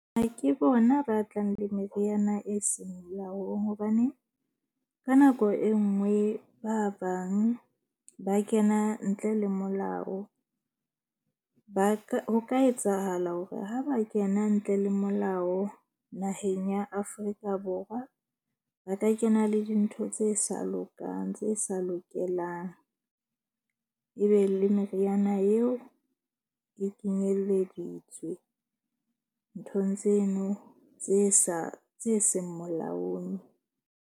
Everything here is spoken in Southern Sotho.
Ha ke bona ba tlang le meriana e seng molaong. Hobane ka nako e nngwe ba bang ba kena ntle le molao. Ba ka, ho ka etsahala hore ha ba kena ntle le molao naheng ya Afrika Borwa. Ba ka kena le dintho tse sa lokang tse sa lokelang. Ebe le meriana eo e kenyeleditswe nthong tseno tse sa tse seng molaong.